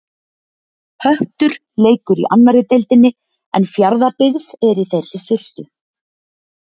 Höttur leikur í annarri deildinni en Fjarðabyggð er í þeirri fyrstu.